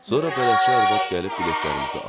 Sonra bələdçi arvad gəlib biletlərimizi aldı.